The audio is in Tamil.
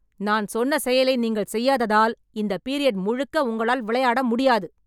நான் சொன்ன செயலை நீங்கள் செய்யாததால் இந்த பீரியட் முழுக்க உங்களால் விளையாட முடியாது